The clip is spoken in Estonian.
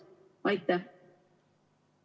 [Räägib, aga midagi ei ole kuulda.